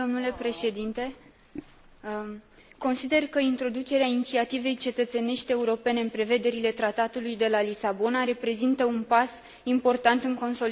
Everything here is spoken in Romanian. Consider că introducerea inițiativei cetățenești europene în prevederile Tratatului de la Lisabona reprezintă un pas important în consolidarea democrației în Uniunea Europeană.